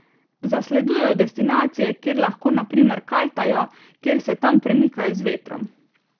Zasledujejo destinacije, kjer lahko na primer kajtajo, kjer se tam premikajo z vetrom.